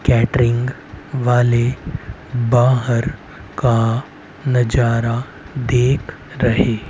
catering वाले बाहर का नजारा देख रहे--